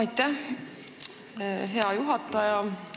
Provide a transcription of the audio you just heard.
Aitäh, hea juhataja!